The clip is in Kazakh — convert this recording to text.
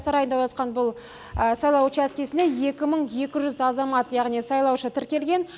сарайда орналасқан бұл сайлау учаскесінде екі мың екі жүз азамат яғни сайлаушы тіркелген